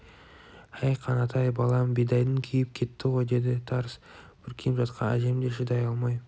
әй қанатай балам бидайың күйіп кетті ғой деді тарс бүркеніп жатқан әжем де шыдай алмай